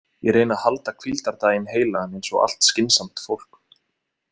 Ég reyni að halda hvíldardaginn heilagan eins og allt skynsamt fólk.